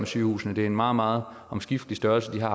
sygehusene det er en meget meget omskiftelig størrelse de har